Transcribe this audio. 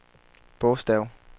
bogstav